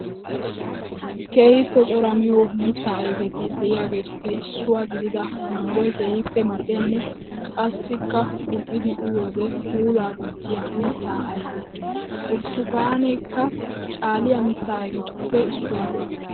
Keehippe cora miyo mitta ayfetti de'iyattuppe issuwaa gidida manggoy keehippe mal'iyanne qassikka gumi'iddi uyiyoode puula gujiya mitta ayfe. Burttukaannekka caaliya mita ayfetuppe issuwa.